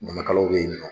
Ɲamakalaw bɛ yen nɔ